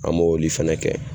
An m'oli fɛnɛ kɛ.